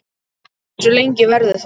Hversu lengi verður það?